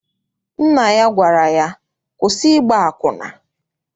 Nna ya gwara ya, kwụsị ịgba akwụna!